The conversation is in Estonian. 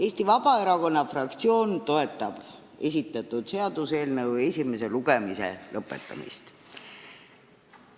Eesti Vabaerakonna fraktsioon toetab esitatud seaduseelnõu esimese lugemise lõpetamist.